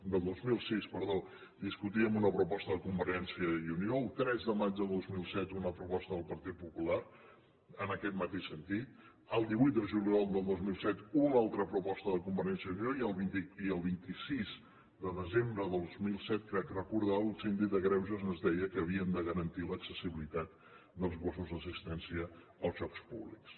del dos mil sis perdó discutíem una proposta de convergència i unió el tres de maig del dos mil set una proposta del partit popular en aquest mateix sentit el divuit de juliol del dos mil set una altra proposta de convergència i unió i el vint sis de desembre de dos mil set crec recordar el síndic de greuges ens deia que havíem de garantir l’accessibilitat dels gossos d’assistència als llocs públics